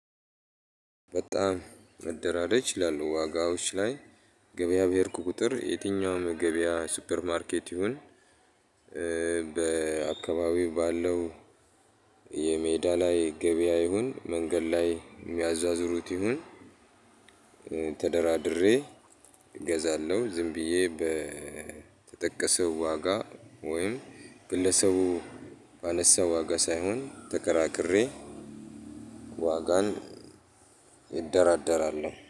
በጣም መደራደር ችላለው ዋጋዎች ላይ ገበያ በሄድኩ ቁጥር የትኛውም የገበያ ሱፐር ማርኬት ይሁን። በአካባቢው ባለው የሜዳ ላይ ገበያ ይሁን መንገድ ላይ የሚያዟዙሩት ይሁን። ተደራድሬ እገዛለሁ። ዝም ብዬ በተጠቀሰው ዋጋ ወይም ግለሰቡ ባነሳ ዋጋ ሳይሆን ተከራክሬ ዋጋን እደራደራለሁ